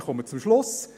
Ich komme zum Schluss.